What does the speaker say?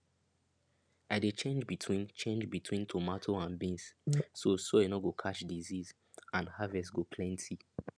i dey change between change between tomato and beans so soil nor go catch disease and harvest go plenty